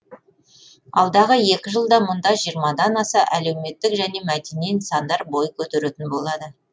алдағы екі жылда мұнда жиырмадан аса әлеуметтік және мәдени нысандар бой көтеретін болады